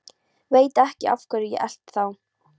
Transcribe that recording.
Veit ekki af hverju ég elti þá.